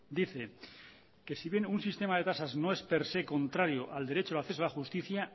dice que si bien un sistema de tasas no es per se contrario al derecho de acceso a la justicia